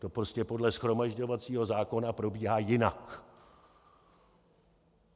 To prostě podle shromažďovacího zákona probíhá jinak.